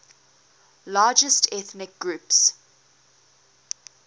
largest ethnic groups